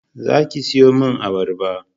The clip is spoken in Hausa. Za ki sayo min abarba